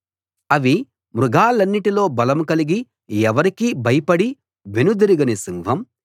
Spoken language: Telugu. అవి మృగాలన్నిటిలో బలం కలిగి ఎవరికీ భయపడి వెనుదిరుగని సింహం